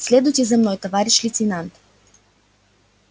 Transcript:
следуйте за мной товарищ лейтенант